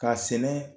K'a sɛnɛ